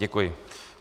Děkuji.